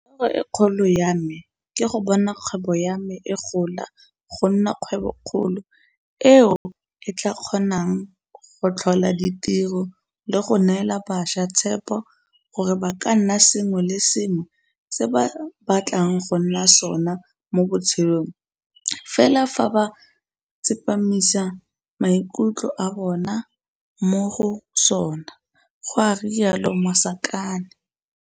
Toro e kgolo ya me ke go bona kgwebo ya me e gola go nna kgwebokgolo eo e tla kgonang go tlhola ditiro le go neela bašwa tshepo gore ba ka nna sengwe le sengwe se ba batlang go nna sona mo botshelong fela fa ba tsepamisa maikutlo a bona mo go sona, go rialo Masakane.